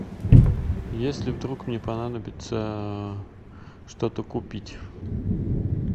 если вдруг мне понадобится что то купить